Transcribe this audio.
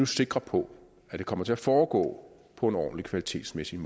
sikre på at det kommer til at foregå på en kvalitetsmæssigt